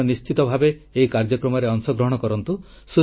ଆପଣ ନିଶ୍ଚିତ ଭାବେ ଏହି କାର୍ଯ୍ୟକ୍ରମରେ ଅଂଶଗ୍ରହଣ କରନ୍ତୁ